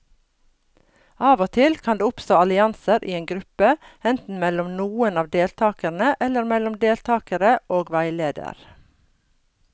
Av og til kan det oppstå allianser i en gruppe, enten mellom noen av deltakerne eller mellom deltakere og veileder.